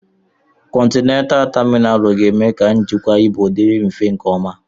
Kọntena taminalu ga-eme ka njikwa ibu dị mfe nke ọma.